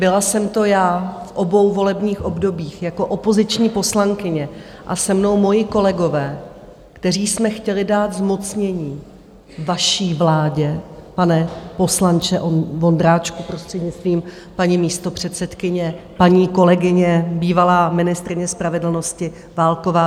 Byla jsem to já v obou volebních obdobích jako opoziční poslankyně a se mnou moji kolegové, kteří jsme chtěli dát zmocnění vaší vládě, pane poslanče Vondráčku, prostřednictvím paní místopředsedkyně, paní kolegyně, bývalá ministryně spravedlnosti Válková.